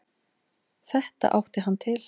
Þetta átti hann til.